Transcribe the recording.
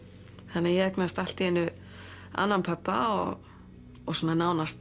þannig að ég eignaðist allt í einu annan pabba og svona nánast